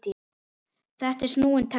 Þetta er snúinn texti.